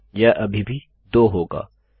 यह अभी भी 2 होगा